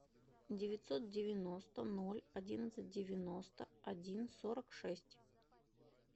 девятьсот девяносто ноль одиннадцать девяносто один сорок шесть